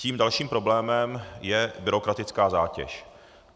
Tím dalším problémem je byrokratická zátěž.